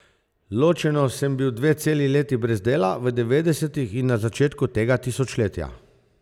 Ločeno sem bil dve celi leti brez dela, v devetdesetih in na začetku tega tisočletja.